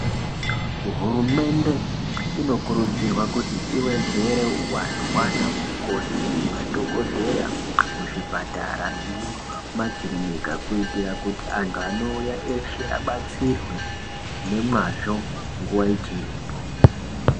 Hurumende inokurudzirwa kuti iwedzere huwandu hwanamukoti nemadhogoteya kuzvipatara nekumakirinika kuti antu anouya eshe abatsirwe nemwazvo nguwa ichiripo.